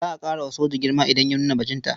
Za a ƙara wa soja girma idan ya nuna bajinta.